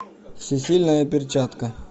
всесильная перчатка